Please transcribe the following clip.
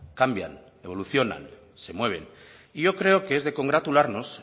cambian evolucionan se mueven y yo creo que es de congratularnos